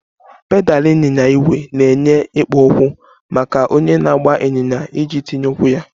Pedal ịnyịnya ígwè na-enye ikpo okwu maka onye na-agba ịnyịnya iji tinye ụkwụ ya